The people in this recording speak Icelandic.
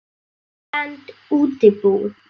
Innlend útibú.